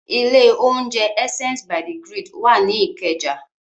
Ilé-oúnjẹ Essence by the Grid wà ní Ìkẹjà.